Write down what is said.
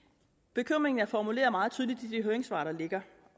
bekymringen er formuleret meget tydeligt i de høringssvar der ligger